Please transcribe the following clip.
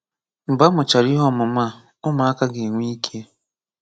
Mgbe a mụchara ihe ọmụmụ a, ụmụaka ga-enwe ike